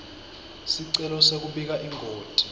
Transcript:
sicelo sekubika ingoti